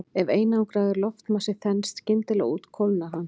Ef einangraður loftmassi þenst skyndilega út kólnar hann.